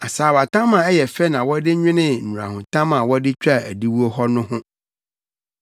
Asaawatam a ɛyɛ fɛ na wɔde nwenee nnurahotam a wɔde twaa adiwo hɔ no ho.